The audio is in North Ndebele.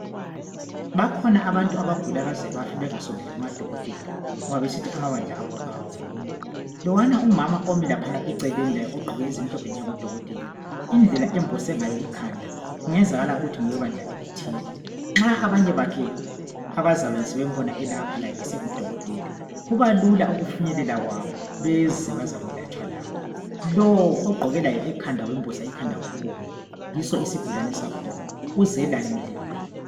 Bakhona abantu abagula baze bafe ngoba abavumi, lwana umama Omi laphana eceleni ogqoke ezimhlophe indlela ambose ngayo ikhanda kungenzeka ukuthi ngowebandla elithile ,Nxa abanye bakhe abazalwane bembona esengudokotela kubalula ukufinyelela beze bezoyelatshwa labo lo oggqoke okubomnvu ekhanda yiso isigulane sakhona uzelanyulelwa.